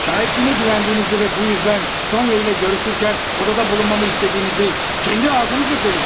Şahidliyimə güvəndiyinizi və bu üzdən Sonya ilə görüşərkən odada bulunmamı istədiyinizi kəndi ağzınızla söylədiniz.